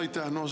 Aitäh!